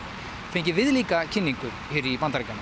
fengið viðlíka kynningu hér í Bandaríkjunum